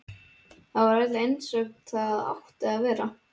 Þar var allt einsog það átti að vera.